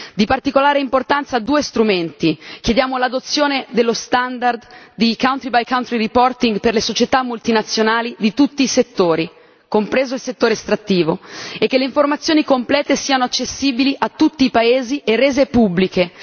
Di particolare importanza due strumenti chiediamo l'adozione dello standard del country by country reporting per le società multinazionali di tutti i settori, compreso il settore estrattivo, e che le informazioni complete siano accessibili a tutti i paesi e rese pubbliche.